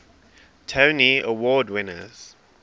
tony award winners